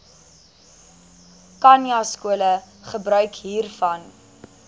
khanyaskole gebruik hiervan